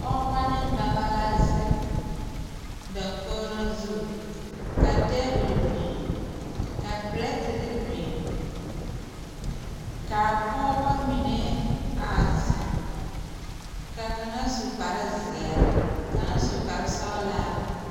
Pɔɔbɔ ne dɔbɔ la zeŋ dakogro zu ka tabole biŋ ka pirɛterre biŋ kaa pɔɔbɔ mine a zeŋ ka kaŋa su kparezeɛ kaŋ su kparesɔglaa.